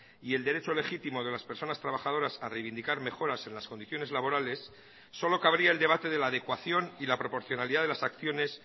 y el derecho legítimo de las personas trabajadoras a reivindicar mejoras en las condiciones laborales solo cabría el debate de la adecuación y la proporcionalidad de las acciones